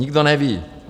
Nikdo neví.